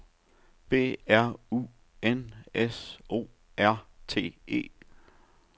B R U N S O R T E